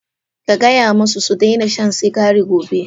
Ka gaya musu su daina shan sigari gobe!